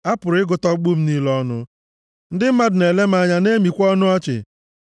A pụrụ ịgụta ọkpụkpụ m niile ọnụ; ndị mmadụ na-ele m anya na-emikwa ọnụ ọchị